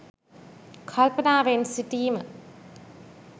කල්පනාවෙන් සිටීම.